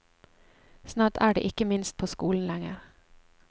Snart er de ikke minst på skolen lenger.